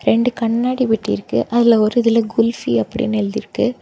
ரெண்டு கண்ணாடி பெட்டி இருக்கு அதுல ஒரு இதுல குல்பினு அப்டினு எழுதிருக்கு.